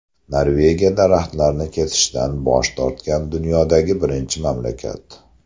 Norvegiya daraxtlarni kesishdan bosh tortgan dunyodagi birinchi mamlakat.